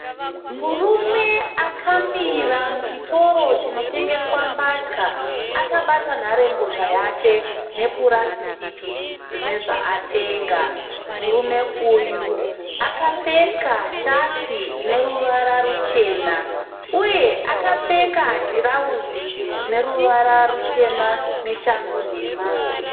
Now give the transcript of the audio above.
Murume akamira muchitoro chinotengeswa mbatya akabata nharembozha yake nepurasitiki rine zvaatenga. Murume uyu akapfeka shati ine ruvara ruchena uye akapfeka tirauzi rine ruvara rutema neshangu nhema.